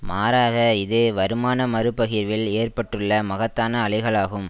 மாறாக இது வருமான மறுபகிர்வில் ஏற்பட்டுள்ள மகத்தான அலைகளாகும்